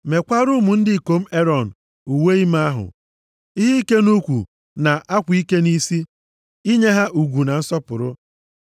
Meekwara ụmụ ndị ikom Erọn uwe ime ahụ, ihe ike nʼukwu na akwa ike nʼisi, inye ha ugwu na nsọpụrụ.